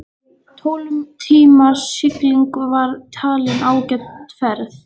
Tólf tíma sigling var talin ágæt ferð.